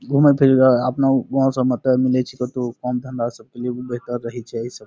घुमै थे जगह आपनो घूमे सब मते नै छीके तो काम धंधा सब के लिए भी बेहतर रही छै एही सब।